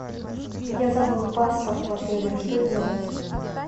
я забыл паспорт в отеле что делать